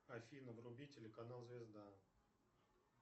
афина вруби телеканал звезда